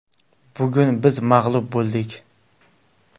Bugun biz mag‘lub bo‘ldik.